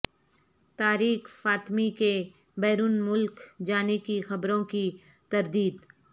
طارق فاطمی کے بیرون ملک جانے کی خبروں کی تردید